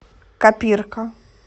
копирка